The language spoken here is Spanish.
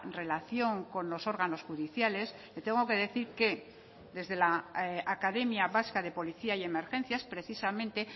relación con los órganos judiciales le tengo que decir que desde la academia vasca de policía y emergencias precisamente